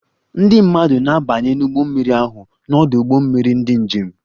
Ndị mmadụ na-abanye n'ụgbọ mmiri ahụ n'ọdụ ụgbọ mmiri ndị njem